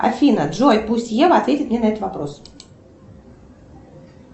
афина джой пусть ева ответит мне на этот вопрос